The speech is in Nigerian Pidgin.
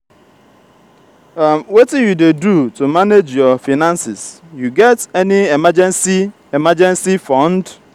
wetin you dey do to manage your finances you get any emergency emergency fund?